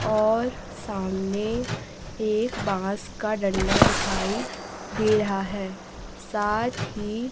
और सामने एक बांस का डंडा दिखाई दे रहा है साथ ही--